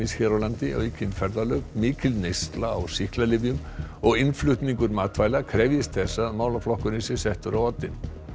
hér á landi aukin ferðalög mikil neysla á sýklalyfjum og innflutningur matvæla krefjist þess að málaflokkurinn sé settur á oddinn